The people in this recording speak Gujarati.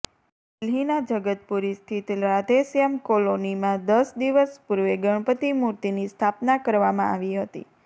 દિલ્હીના જગતપુરી સ્થિત રાધે શ્યામ કોલોનીમાં દસ દિવસ પૂર્વે ગણપતિ મૂર્તિની સ્થાપના કરવામાં આવી હતી